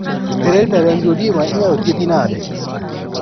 Hereditary angioedema inyalo thiedhi nade